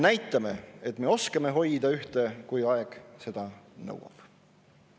Näitame, et me oskame hoida ühte, kui aeg seda nõuab.